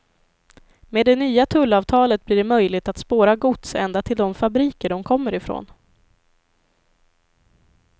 Med det nya tullavtalet blir det möjligt att spåra gods ända till de fabriker de kommer ifrån.